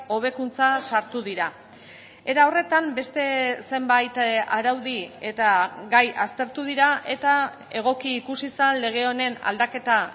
hobekuntza sartu dira era horretan beste zenbait araudi eta gai aztertu dira eta egoki ikusi zen lege honen aldaketa